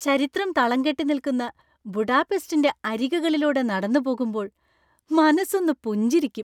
ചരിത്രം തളംകെട്ടി നിൽക്കുന്ന ബുഡാപെസ്റ്റിൻ്റെ അരികുകളിലൂടെ നടന്നുപോകുമ്പോൾ മനസ്സൊന്ന് പുഞ്ചിരിക്കും.